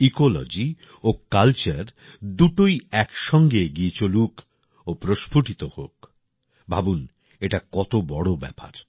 ecology ও culture দুটোই একসঙ্গে এগিয়ে চলুক ও প্রস্ফুটিত হোক ভাবুন এটা কত বড় ব্যাপার